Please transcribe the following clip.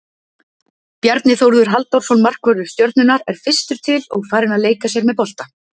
Bjarni Þórður Halldórsson markvörður Stjörnunnar er fyrstur til og farinn að leika sér með bolta.